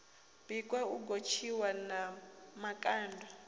bikwa u gotshiwa na makanda